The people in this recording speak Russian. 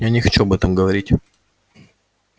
я не хочу об этом говорить